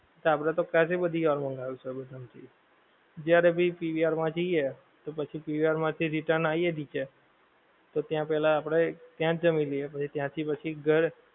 આપડે તો કેટલી બધી વાર મંગાવ્યું સબવે માંથી જ્યારે ભી PVR માં જઈએ તો પછી PVR માંથી return આઈએ નીચે, તો ત્યાં પહેલા આપડે ત્યાંજ જમી લઈએ. પછી ત્યાંથી પછી ઘર